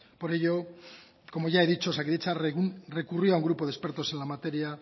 por ello como ya he dicho osakidetza recurrió a un grupo de expertos en la materia